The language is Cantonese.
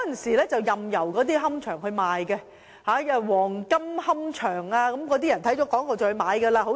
以往任由龕場賣廣告，黃金龕場便是其中一個例子。